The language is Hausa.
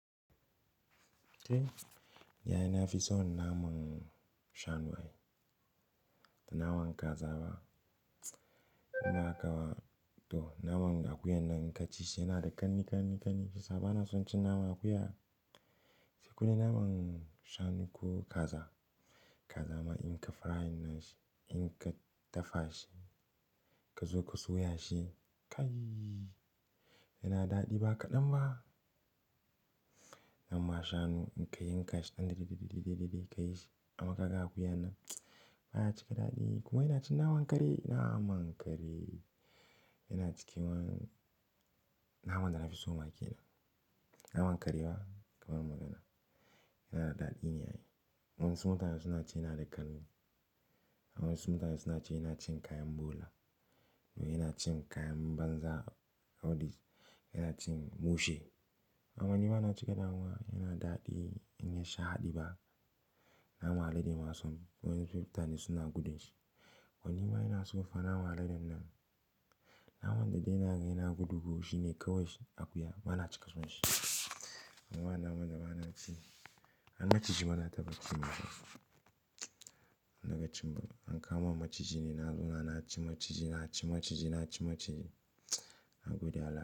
Eh, yayi na fi son naman shanu ai. Naman kaza ba naman akuyar nan in kaci shi yanada kanni kani bana son cin naman akuya kodai naman shanu ko kaza, kaza ma in ka frying na shi, in ka dafa shi ka zo ka soya shi, kai yana daɗi ba kaɗan ba. Naman shanu in ka yi ka shi ɗanɗani, ɗanɗani, ɗanɗani, ka yi shi amma kaga akuya nan baya cika daɗi. Kuma ina cin naman kare, naman kare yana ciki man. Naman da na fi so ma kenan. Naman kare ba kamar magana, yana da daɗi ne ai. Wasu mutane suna cewa yana da ƙanne. Wasu mutane suna cewa yana cin kayan bola. Wai yana cin kayan banza, audis, yana cin bushe. Aman ni bana cika damuwa, yana daɗi in ya haɗi ba. Nama alade ma son wasu mutane suna gudan shi. Wani ma yana son fa naman aladen nan. Naman da dai na gani yana gudu ko shine kawai shi akuya bana cika son shi. Amma naman da bana ci, an ci jini bana taba cin masa. Nan dakin ba an kama maciji ne, na zuna na ci maciji, na ci maciji, na ci maciji, na gudu al'umma.